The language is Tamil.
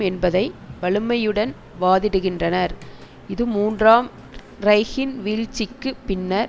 என்பதை வலிமையுடன் வாதிடுகின்றனர் இது மூன்றாம் ரைகின் வீழ்ச்சிக்கு பின்னர்